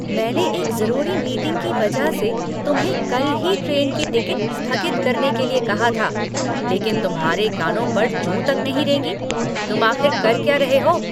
मैंने एक ज़रूरी मीटिंग की वजह से तुम्हें कल ही ट्रेन की टिकट स्थगित करने के लिए कहा था, लेकिन तुम्हारे कानों पर जूं तक नहीं रेंगी, तुम आख़िर कर क्या रहे हो?